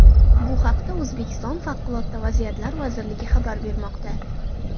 Bu haqda O‘zbekiston Favqulodda vaziyatlar vazirligi xabar bermoqda .